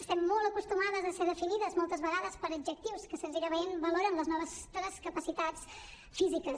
estem molt acostumades a ser definides moltes vegades per adjectius que senzillament valoren les nostres capacitats físiques